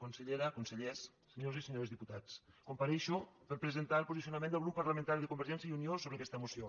consellera consellers senyores i senyors diputats compareixo per presentar el posicionament del grup parlamentari de convergència i unió sobre aquesta moció